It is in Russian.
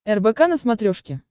рбк на смотрешке